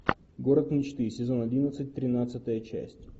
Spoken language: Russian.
город мечты сезон одиннадцать тринадцатая часть